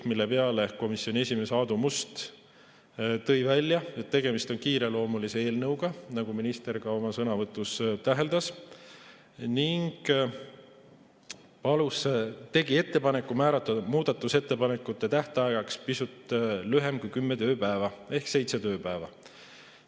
Selle peale tõi komisjoni esimees Aadu Must välja, et tegemist on kiireloomulise eelnõuga, nagu minister ka oma sõnavõtus täheldas, ning tegi ettepaneku määrata muudatusettepanekute tähtajaks pisut lühem aeg kui kümme tööpäeva ehk seitse tööpäeva.